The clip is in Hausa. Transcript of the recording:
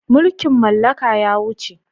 Mulkin mallaka ya wuce.